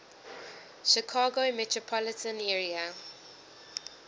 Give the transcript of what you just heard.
chicago metropolitan area